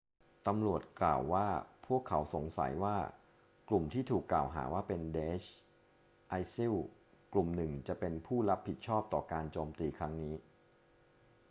ตำรวจกล่าวว่าพวกเขาสงสัยว่ากลุ่มที่ถูกกล่าวหาว่าเป็น daesh isil กลุ่มหนึ่งจะเป็นผู้รับผิดชอบต่อการโจมตีครั้งนี้